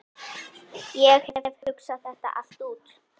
Ég hef hugsað þetta allt út.